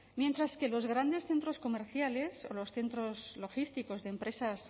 mientras que los grandes centros comerciales o los centros logísticos de empresas